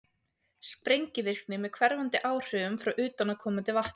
sprengivirkni með hverfandi áhrifum frá utanaðkomandi vatni